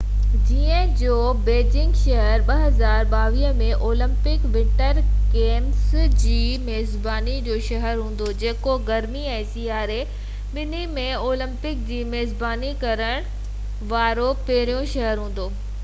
چين جو بيجنگ شهر 2022 ۾ اولمپڪ ونٽر گيمس جي ميزباني جو شهر هوندو جيڪو گرمي ۽ سياري ٻنهي ۾ اولمپڪس جي ميزباني ڪرڻ وارو پهريون شهر هوندو